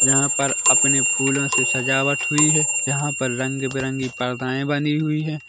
यहाँ पर अपने फूलों से सजावट हुई है यहाँ पर रंग-बिरंगी पर्दायें बनी हुई है।